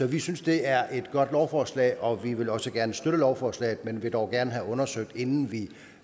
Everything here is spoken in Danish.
vi synes det er et godt lovforslag og vil også gerne støtte lovforslaget men vil dog gerne have undersøgt inden vi